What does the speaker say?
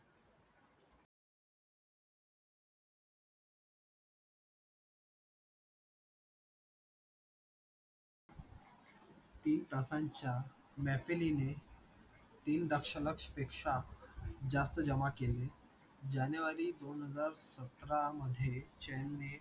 तीन तासांच्या mapening ने तीन दश लक्ष पेक्षा जास्त जमा केलीये जानेवारी दोन हजार सतरा मधे chan ने